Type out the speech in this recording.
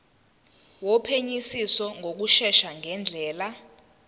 wophenyisiso ngokushesha ngendlela